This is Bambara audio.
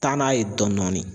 Taa n'a ye dɔɔnin dɔɔnin